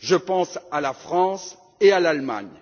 Je pense à la France et à l'Allemagne.